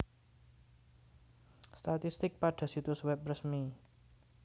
Statistik pada situs web resmi